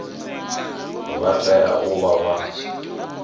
vha tea u vha vha